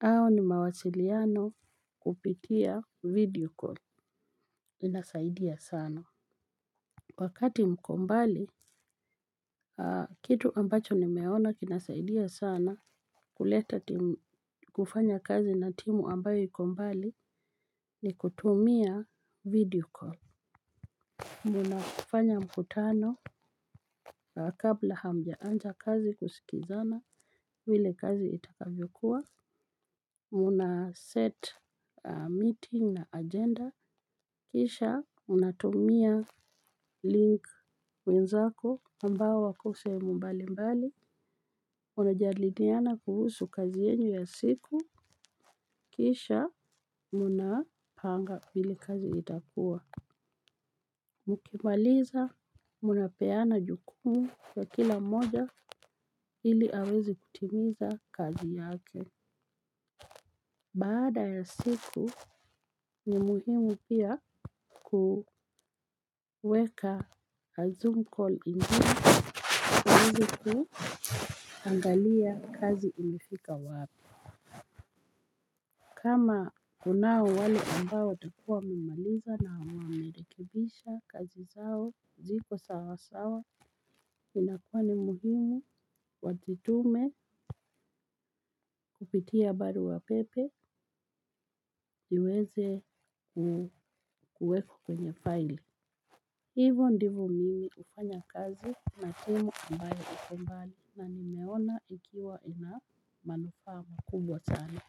au ni mawasiliano kupitia video call, inasaidia sana. Wakati mko mbali, kitu ambacho nimeona kinasaidia sana huleta timu, kufanya kazi na timu ambayo ikombali ni kutumia vedio call, munafanya mkutano. Kabla hamja anja kazi kusikizana vile kazi itakavyokuwa. Mna set meeting na agenda kisha mnatumia link. Wenzako ambao wako sehemu mbali mbali. Unajadiliana kuhusu kazi yenyu ya siku. Kisha mnapanga vile kazi itakuwa. Mkimaliza mnapeana jukumu kwa kila mmoja. Hili aweze kutimiza kazi yake. Baada ya siku ni muhimu pia. Kuweka a zoom ingine uweze kuangalia kazi ilifika wapi. Kama kunao wale ambao watakua wamemaliza na wamerekebisha kazi zao ziko sawasawa. Inakua ni muhimu wazitume. Kupitia baruapepe. Niweze kuweka kwenye faili. Hivo ndivo mimi ufanya kazi na timu ambayo iko mbali na nimeona ikiwa ina manufaa kubwa sana.